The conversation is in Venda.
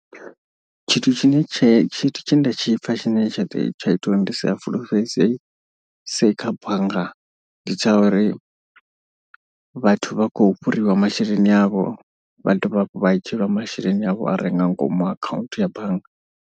Tshithu tshine tshe tshithu tshe nda tshipfa tshine tsha tsha ita uri ndi sia fulufhelese kha bannga ndi tsha uri. Vhathu vha khou fhuriwa masheleni avho vha dovha hafhu vha dzhieliwa masheleni avho a re nga ngomu akhaunthu ya bannga.